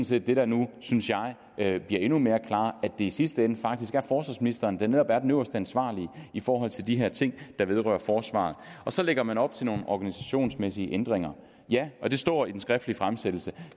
set det der nu synes jeg bliver endnu mere klart at det i sidste ende faktisk er forsvarsministeren der netop er den øverste ansvarlige i forhold til de her ting der vedrører forsvaret og så lægger man op til nogle organisationsmæssige ændringer ja og det står i den skriftlige fremsættelse